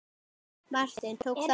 Martin, tók þátt í.